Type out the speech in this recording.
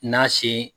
N'a sen